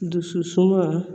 Dusu suma